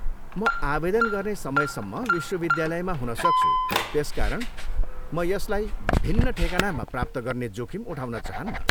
म आवेदन गर्ने समयसम्म विश्वविद्यालयमा हुन सक्छु त्यसकारण म यसलाई भिन्न ठेगानामा प्राप्त गर्ने जोखिम उठाउन चाहन्नँ।